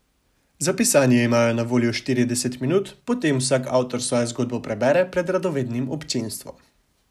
Za pisanje imajo na voljo štirideset minut, potem vsak avtor svojo zgodbo prebere pred radovednim občinstvom.